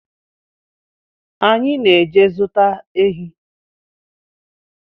Anyị na-eje zụta ehi